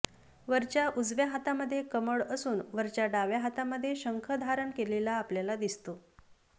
वरच्या उजव्या हातामध्ये कमळ असून वरच्या डाव्या हातामध्ये शंख धारण केलेला आपल्याला दिसतो